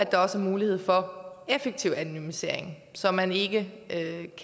der er mulighed for effektiv anonymisering så man ikke